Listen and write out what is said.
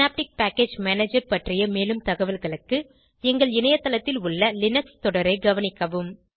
synaptic package manager பற்றிய மேலும் தகவல்களுக்கு எங்கள் இணையத்தளத்தில் உள்ள லினக்ஸ் தொடரை கவனிக்கவும்